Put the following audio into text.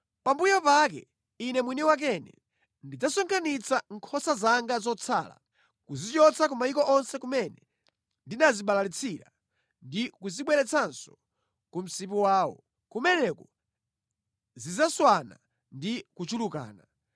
“Pambuyo pake Ine mwini wakene ndidzasonkhanitsa nkhosa zanga zotsala, kuzichotsa ku mayiko onse kumene ndinazibalalitsira ndi kuzibweretsanso ku msipu wawo. Kumeneko zidzaswana ndi kuchulukana.